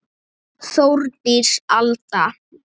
Þórdís Alda.